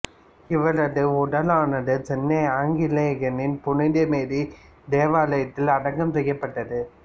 இவரது உடலானது சென்னை ஆங்கிலிகன் புனித மேரி தேவாலயத்தில் அடக்கம் செய்யப்பட்டது